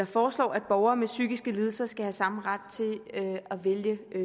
foreslår at borgere med psykiske lidelser skal have samme ret til at vælge